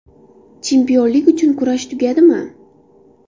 Chempionlik uchun kurash tugadimi?